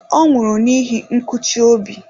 Ọ nwụrụ n'ihi nkụchi obi.